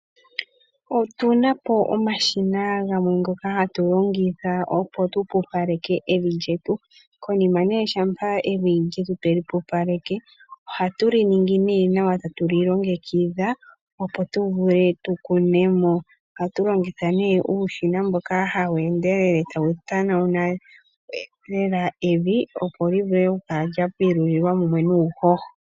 Otu na po omashina ngoka ha tu longitha opo tu pupaleke evi lyetu. Konima nee shampa evi twe li pupaleke oha tu li ningi nee nawa, ta tu li longekidha opo tu vule tu kune mo. Oha tu longitha nee uushina mboka ha wu endelele ta wu tanauna evi, opo li vule okukala lya pilulilwa mumwe nuuhoho.